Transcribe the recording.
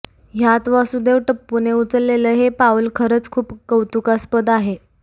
ह्यात वासुदेव टप्पूने उचलेलं हे पाउल खरचं खूप कौतुकास्पद आहे